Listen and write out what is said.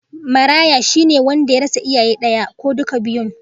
Maraya, shi ne wanda ya rasa iyayen daya ko duka biyun